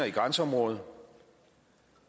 i grænseområdet